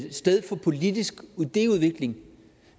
et sted for politisk idéudvikling